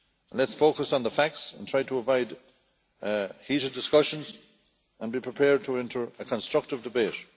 Let us focus on the facts and try to avoid heated discussions and be prepared to enter a constructive debate.